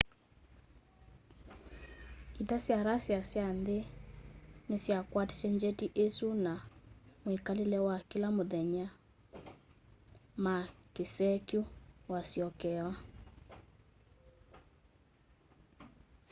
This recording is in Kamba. ita sya russia sya nthi nisyakwatisye njeti isu na mwikalile wa kila muthenya ma kisee kyu wasyokewa